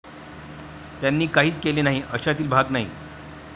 त्यांनी काहीच केले नाही अशातील भाग नाही.